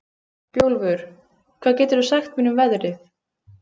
Bjólfur, hvað geturðu sagt mér um veðrið?